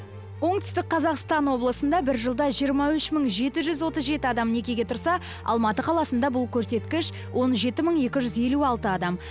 оңтүстік қазақстан облысында бір жылда жиырма үш мың жеті жүз отыз жеті адам некеге тұрса алматы қаласында бұл көрсеткіш он жеті мың екі жүз елу алты адам